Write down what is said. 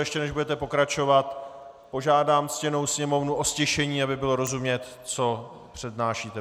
Ještě než budete pokračovat, požádám ctěnou sněmovnu o ztišení, aby bylo rozumět, co přednášíte.